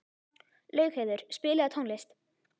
Laugheiður, spilaðu tónlist.